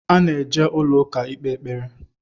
A na-eje ụlọ ụka ikpe ekpere